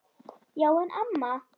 Já en amma.